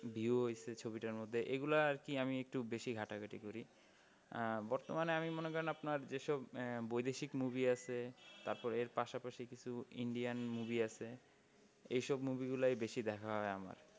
View ও হয়েছে ছবিটার মধ্যে? এইগুলা আর কি আমি একটু বেশি ঘাঁটাঘাঁটি করি। আহ বর্তমানে আমি মনে করেন আপনার যে সব আহ বৈদেশিক movie আছে তারপরে এর পাশাপাশি কিছু indian movie আছে এই সব movie গুলো বেশি দেখা হয় আমার।